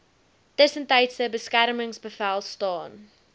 tussentydse beskermingsbevel staan